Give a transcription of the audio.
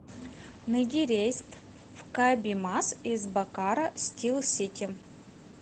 найди рейс в кабимас из бокаро стил сити